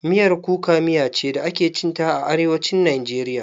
Miyar kuka miya ce da ake cin ta a Arewacin Najeriya.